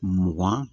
Mugan